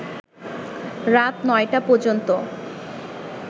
রাত ৯টা পর্যন্ত